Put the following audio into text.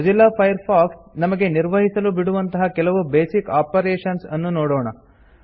Mozilla Firefox ನಮಗೆ ನಿರ್ವಹಿಸಲು ಬಿಡುವಂತಹ ಕೆಲವು ಬೇಸಿಕ್ ಆಪರೇಷನ್ಸ್ ಅನ್ನು ನೋಡೊಣ